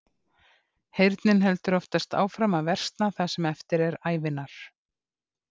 Heyrnin heldur oftast áfram að versna það sem eftir er ævinnar.